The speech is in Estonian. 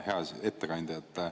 Hea ettekandja!